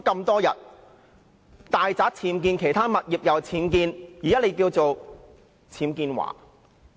大宅和其他物業均有僭建物，現在你被稱為"僭建驊"......